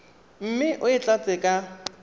mme o e tlatse ka